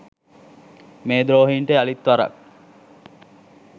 මේ ද්‍රෝහීන්ට යළිත් වරක්